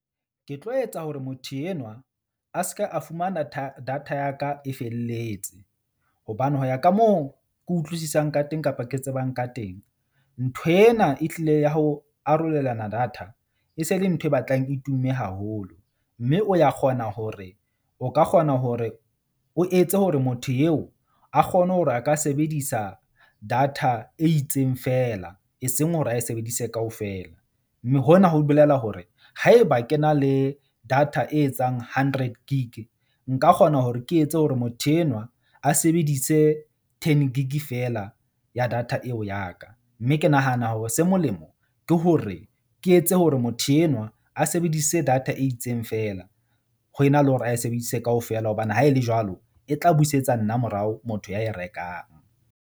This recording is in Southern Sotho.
Ke tlo etsa hore motho enwa a se ke a fumana data ya ka e felletse. Hobane ho ya ka moo ke utlwisisang ka teng kapa ke tsebang ka teng. Ntho ena e hlile ya ho arolelana data, e se le ntho e batlang e tumme haholo mme o ya kgona hore o ka kgona hore o etse hore motho yeo a kgone hore a ka sebedisa data e itseng fela eseng hore a e sebedise kaofela. Mme hona ho bolela hore haeba ke na le data e etsang hundred gig, nka kgona hore ke etse hore motho enwa a sebedise ten gig fela ya data eo ya ka. Mme ke nahana hore se molemo ke hore ke etse hore motho enwa a sebedise data e itseng fela ho ena le hore a e sebedise kaofela hobane ha e le jwalo e tla busetsa nna morao. Motho ya e rekang.